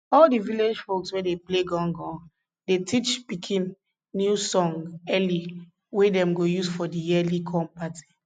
all di village folks wey dey play gangan dey teach pikin new song early wey dem go use for di yearly corn party